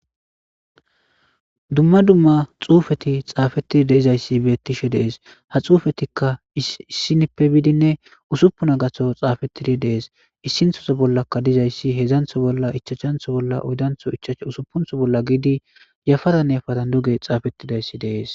dumma dumma xuufeti xaafettidi dei'zayssi beettishe dees ha xuufetikka issinippe biidinne usuppuna gatho xaafettidi dees issinthoso bollaka dizayssi hedzantho bolla ichachantho bolla uydantho ichacsh usupuntho bolla giidi yafara neafatan duge xaafettidayssi dees